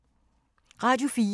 Radio 4